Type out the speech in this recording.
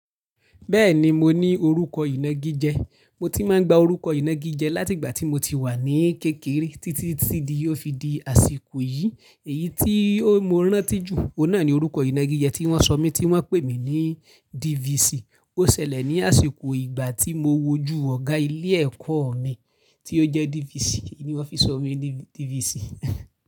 Bẹ́ẹ̀ni, mo ní orúkọ ìnagi jẹ, mo ti máa ń gba orúkọ ìnagi jẹ láti ìgbà tí mo ti wà ní kékeré títí tí di ó fi di àsìkò yìí. Èyí tí mo rántí jù, òun náà ni orúkọ ìnagi jẹ tí wọ́n sọ mí tí wọ́n ń pè mí ní DVC. Ó ṣẹlẹ̀ ní àsìkò ìgbà tí mo wojú ọ̀gá ilé ẹ̀kọ́ mi tí ó jẹ́ DVC, ni wón fi sọ mí ní DVC.